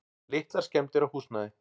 Litlar skemmdir á húsnæði.